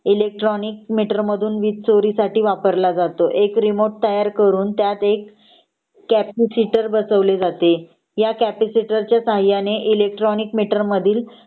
electronic meter मधून वीज चोरीसाठी वापरला जातो एक रीमोट तयार करून त्यात एक कॅपीसिटर बसवले जाते ह्या कॅपीसिटरच्या सहाय्याने इलेक्ट्रोनिक मिटर मधील